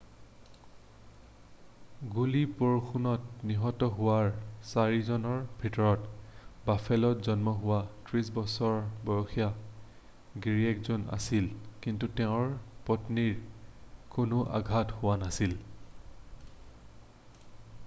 গুলিবৰ্ষণত নিহত হোৱাৰ চাৰিজনৰ ভিতৰত বাফেলোত জন্ম হোৱা 30 বছৰ বয়সীয়া গিৰীয়েকজনো আছিল কিন্তু তেওঁৰ পত্নীৰ কোনো আঘাত হোৱা নাছিল